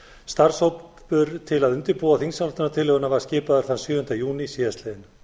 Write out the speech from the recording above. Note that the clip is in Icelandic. starfshópur til að undirbúa þingsályktunartillöguna var skipaður þann sjöunda júní síðastliðinn